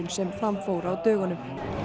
sem fram fór á dögunum